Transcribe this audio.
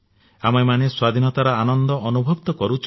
ଆମେମାନେ ସ୍ୱାଧୀନତାର ଆନନ୍ଦ ଅନୁଭବ ତ କରୁଛେ